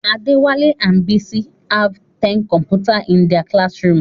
Adewale and Bisi have ten computers in their classroom.